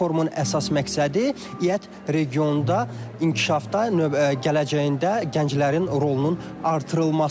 Bu forumun əsas məqsədi İƏT regionda inkişafda gələcəyində gənclərin rolunun artırılmasıdır.